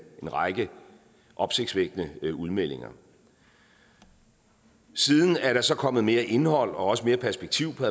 en række opsigtsvækkende udmeldinger siden er der så kommet mere indhold og også mere perspektiv på